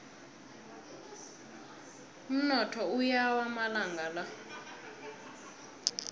umnotho uyawa amalanga la